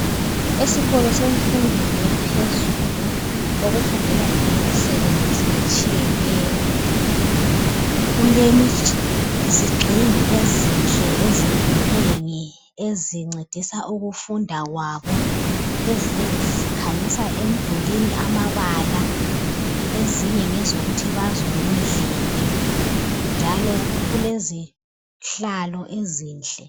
Esikolo semfundweni yaphezulu okufundelwa khona imisebenzi etshiyeneyo kulezigxingi ezinhle ezinengi nengi ezincedisa ukufunda kwabo ezinye zikhanyisa emdulwini amabala ezinye ngezokuthi bazwe ngendlebe njalo kulezihlalo ezinhle.